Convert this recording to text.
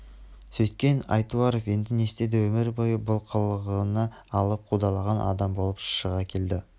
сөйткен айтуаров енді не істеді өмір бойы бұл қырына алып қудалаған адам болып шыға келді